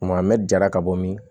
Kuma mɛ jara ka bɔ min